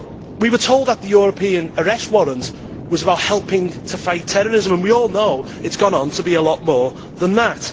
We were told that the European Arrest Warrant was about helping to fight terrorism and we all know it has gone on to be a lot more than that.